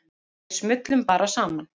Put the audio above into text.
Við smullum bara saman.